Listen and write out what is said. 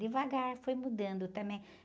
Devagar foi mudando também.